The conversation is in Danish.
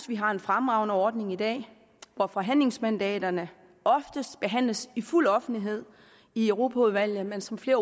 vi har en fremragende ordning i dag hvor forhandlingsmandaterne oftest behandles i fuld offentlighed i europaudvalget men som flere